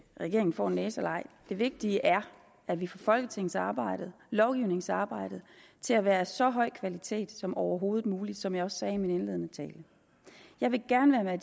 regeringen får en næse eller ej det vigtige er at vi får folketingsarbejdet lovgivningsarbejdet til at være af så høj kvalitet som overhovedet muligt som jeg også sagde i min indledende tale jeg vil gerne være